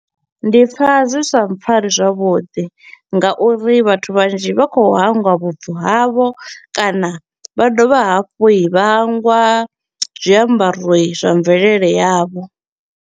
Ndi pfa zwi sa mpfari zwavhuḓi nga uri vhathu vhanzhi vha kho u hangwa vhubvo havho kana vha dovha hafhu vha hangwa zwiambaro zwa mvelele yavho.